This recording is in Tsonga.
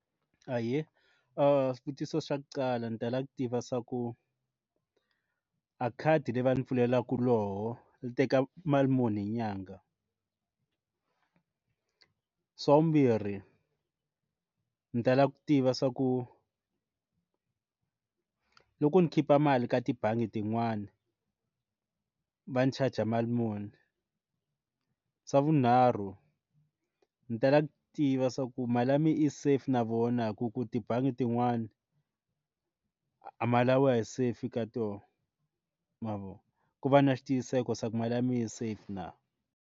Ahee swivutiso swa kuqala ni tala ku tiva swa ku a khadi leyi va ndzi pfuleliwaka loko yi teka mali muni hi nyanga swa vumbirhi ndzi tala ku tiva swa ku loko ndzi khipha mali ka tibangi tin'wani va ndzi charger mali muni xa vunharhu ndzi tala ku tiva swa ku mali ya mina i safe na vona hi ku ku tibangi tin'wani a ma laviwa hi se fika to mavona ku va na xitiyiseko se ku mali ya mina yi safe na.